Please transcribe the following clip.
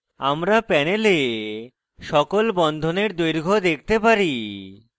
আমরা panel সকল বন্ধনের দৈর্ঘ্য দেখতে পারি